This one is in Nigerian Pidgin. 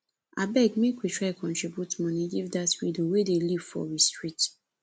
abeg make we try contribute moni give dat widow wey dey live for we street